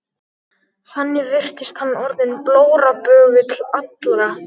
Þannig virtist hann orðinn blóraböggull allra.